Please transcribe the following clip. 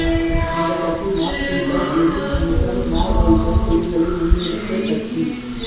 இந்தக் கட்சி Marxism Leninism Maoism கொள்கைகளை முன்னெடுத்த கட்சி